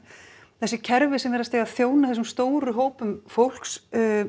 þessi kerfi sem virðast eiga að þjóna þessum stóru hópum fólks